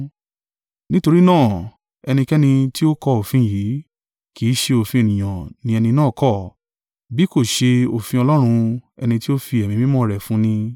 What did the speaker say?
Nítorí náà, ẹnikẹ́ni tí ó kọ òfin yìí, kì í ṣe òfin ènìyàn ni ẹni náà kọ̀, bí kò ṣe òfin Ọlọ́run ẹni tí ó fi Ẹ̀mí Mímọ́ rẹ̀ fún ni.